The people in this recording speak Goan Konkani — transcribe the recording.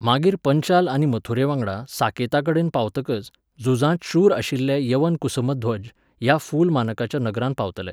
मागीर पंचाल आनी मथुरेवांगडा साकेताकडेन पावतकच, झुजांत शूर आशिल्ले यवन कुसुमध्वज ह्या फुल मानकाच्या नगरांत पावतले.